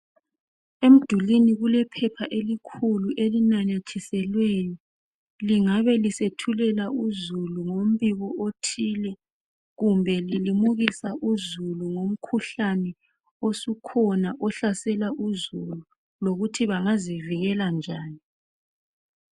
Emdulwini kulephepha elikhulu elinamathiselweyo lingabe lisethulela uzulu ngombiko othile kumbe lilimukisa uzulu ngomkhuhlane osukhona ohlasela uzulu lokuthi bengazivikela njani